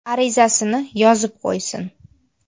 arizasini yozib qo‘ysin!